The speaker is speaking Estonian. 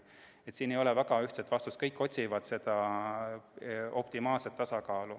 Nii et siin ei ole väga ühest vastust, kõik otsivad optimaalset tasakaalu.